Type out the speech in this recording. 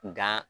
Nga